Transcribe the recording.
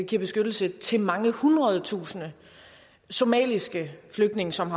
giver beskyttelse til mange hundrede tusinde somaliske flygtninge som